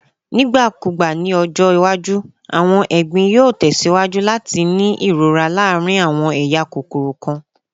Nigbakugba ni ọjọ iwaju, awọn egbin yoo tẹsiwaju lati ni irora irora laarin awọn eya kokoro kan.